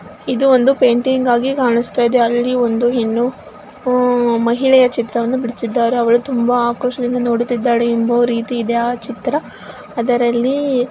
ಇದು ಒಂದು ಪೇಂಟಿಂಗ್ ಆಗಿ ಕಾಣಸ್ತಾ ಇದೆ ಅಲ್ಲಿ ಒಂದು ಹೆಣ್ಣು ಉಹ್ ಮಹಿಳೆಯ ಚಿತ್ರವನ್ನು ಬಿಡಿಸಿದ್ದಾರೆ ಅವಳು ತುಂಬಾ ಆಕ್ರೋಶದಿಂದ ನೋಡುತ್ತಿದ್ದಾಳೆ ಎಂಬುವ ರೀತಿಯಿದೆ ಆ ಚಿತ್ರ ಅದರಲ್ಲಿ --